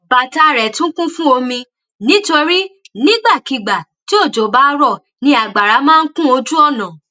bàtà rẹ tún kún fún omi nítorí nígbàkigbà tí òjò bá rọ ni àgbàrá máa n kún ojúọnà